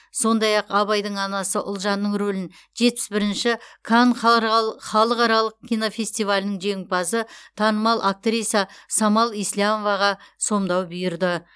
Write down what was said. сондай ақ абайдың анасы ұлжанның рөлін жетпіс бірінші канн халықаралық кинофестивалінің жеңімпазы танымал актриса самал еслямоваға сомдау бұйырды